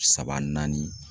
Saba naani